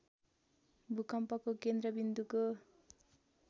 भूकम्पको केन्द्र विन्दुको